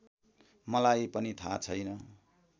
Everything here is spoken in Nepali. मलाई पनि थाहा छैन